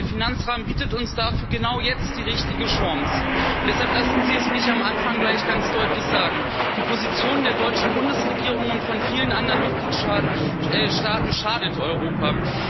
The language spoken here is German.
Der Finanzrahmen bietet uns dafür genau jetzt die richtige Chance, und deshalb lassen Sie es mich am Anfang gleich ganz deutlich sagen Die Position der deutschen Bundesregierung und von vielen anderen Mitgliedstaaten schadet Europa.